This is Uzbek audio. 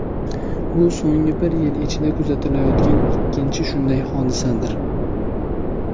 Bu so‘nggi bir yil ichida kuzatilayotgan ikkinchi shunday hodisadir.